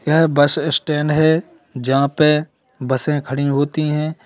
यह bus stand है जहां पे बसें खड़ी होती हैं।